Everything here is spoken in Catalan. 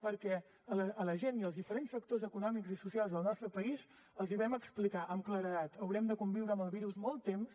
perquè a la gent i als diferents sectors econòmics i socials del nostre país els hi vam explicar amb claredat haurem de conviure amb el virus molt temps